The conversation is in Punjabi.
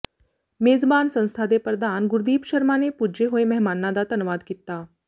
ਮੇਜ਼ਬਾਨ ਸੰਸਥਾ ਦੇ ਪ੍ਰਧਾਨ ਗੁਰਦੀਪ ਸ਼ਰਮਾ ਨੇ ਪੁੱਜੇ ਹੋਏ ਮਹਿਮਾਨਾਂ ਦਾ ਧੰਨਵਾਦ ਕੀਤਾ